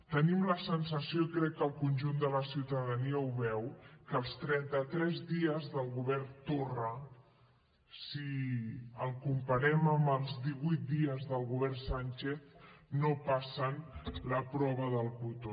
tenim la sensació i crec que el conjunt de la ciutadania ho veu que els trenta tres dies del govern torra si els comparem amb els divuit dies del govern sán chez no passen la prova del cotó